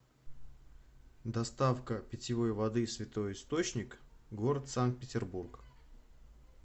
доставка питьевой воды святой источник город санкт петербург